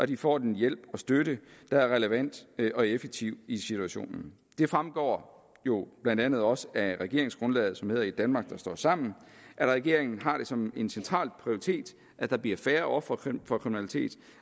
de får den hjælp og støtte der er relevant og effektiv i situationen det fremgår jo blandt andet også af regeringsgrundlaget som hedder et danmark der står sammen at regeringen har det som en central prioritet at der bliver færre ofre for kriminalitet